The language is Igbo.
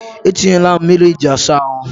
E tinyela m mmiri iji asa ahụ.